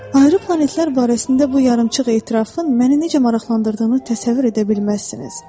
Ayrı planetlər barəsində bu yarımçıq etirafın məni necə maraqlandırdığını təsəvvür edə bilməzsiniz.